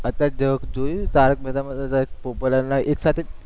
અત્યારે જોયું, તારક મહેતામાં પોપટલાલના એકસાથે